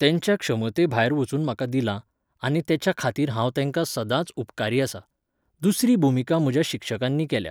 तेंच्या क्षमते भायर वचून म्हाका दिलां, आनी तेच्या खातीर हांव तेंकां सदांच उपकारीआसा. दुसरी भुमिका म्हज्या शिक्षकांनी केल्या.